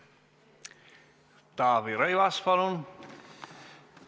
Taavi Rõivas, palun!